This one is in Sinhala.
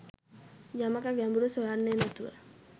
යමක ගැඹුර සොයන්නෙ නැතුව